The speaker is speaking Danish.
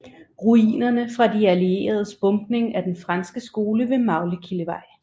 Ruinerne fra de allieredes bombning af den franske skole ved Maglekildevej